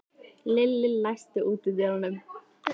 Lilli, læstu útidyrunum.